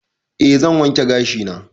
E zan wanke gashi na